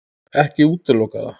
Ekki útiloka það.